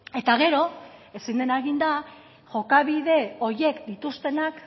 eta gero ezin dena egin da jokabide horiek dituztenak